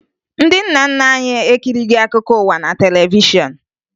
Ndị nna nna anyị ekirighi akụkọ ụwa na televishọn